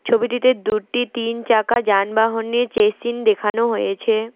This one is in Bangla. ছবিটিতে দুটি তিন চাকা যানবাহনের চেসিন দেখানো হয়েছে।